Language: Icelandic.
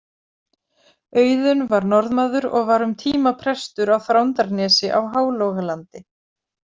Auðun var Norðmaður og var um tíma prestur á Þrándarnesi á Hálogalandi.